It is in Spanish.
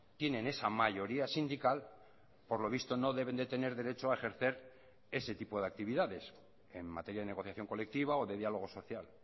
tienen esa mayoría sindical por lo visto no deben de tener derecho a ejercer ese tipo de actividades en materia de negociación colectiva o de diálogo social